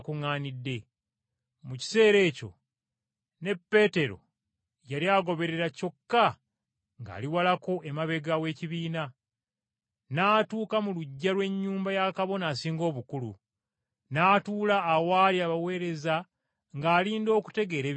Mu kiseera ekyo ne Peetero yali agoberera kyokka ng’ali walako emabega w’ekibiina; n’atuuka mu luggya lw’ennyumba ya Kabona Asinga Obukulu, n’atuula awaali abaweereza ng’alinda okutegeera ebinaavaayo.